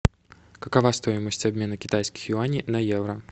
какова стоимость обмена китайских юаней на евро